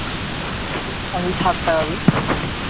আমি সাত টাকা দি